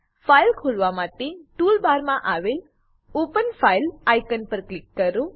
file ખોલવા માટે tool બારમાં આવેલ ઓપન ફાઇલ આઇકોન પર ક્લિક કરો